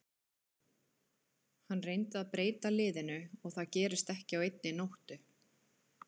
Hann reyndi að breyta liðinu og það gerist ekki á einni nóttu.